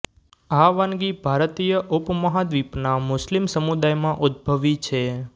આ વાનગી ભારતીય ઉપમહાદ્વિપના મુસ્લિમ સમુદાયમાં ઉદ્ભવી છે